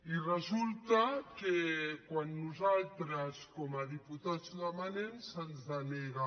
i resulta que quan nosaltres com a diputats ho demanem se’ns denega